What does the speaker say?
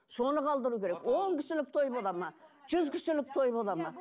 соны қалдыру керек он кісілік той болады ма жүз кісілік той болады ма